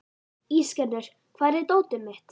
Ísgerður, hvar er dótið mitt?